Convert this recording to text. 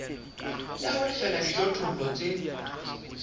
ya ho lefella dijothollo tse